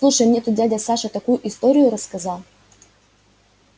слушай мне тут дядя саша такую историю рассказал